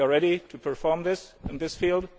We are ready to perform this in this